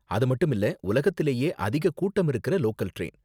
அது மட்டும் இல்ல உலகத்துலயே அதிக கூட்டம் இருக்குற லோக்கல் டிரைன்.